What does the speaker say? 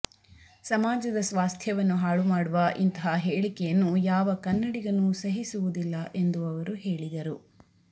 ಸಮಾಜದ ಸ್ವಾಸ್ಥ್ಯವನ್ನು ಹಾಳು ಮಾಡುವ ಇಂತಹ ಹೇಳಿಕೆಯನ್ನು ಯಾವ ಕನ್ನಡಿಗನೂ ಸಹಿಸುವುದಿಲ್ಲ ಎಂದು ಅವರು ಹೇಳಿದರು